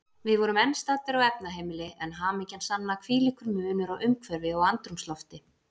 Við vorum enn staddir á efnaheimili, en hamingjan sanna, hvílíkur munur á umhverfi og andrúmslofti.